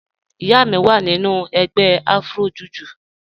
Ìyá mi wá nínu ègbè Afro-Jùjú